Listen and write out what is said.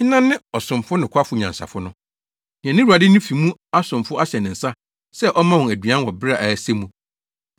“Hena ne ɔsomfo nokwafo nyansafo no, nea ne wura de ne fi mu asomfo ahyɛ ne nsa sɛ ɔmma wɔn aduan wɔ bere a ɛsɛ mu?